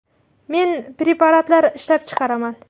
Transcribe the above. Men preparatlar ishlab chiqaraman.